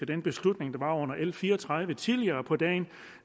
den beslutning der var under l fire og tredive tidligere på dagen